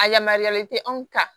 A yamaruyalen tɛ anw kan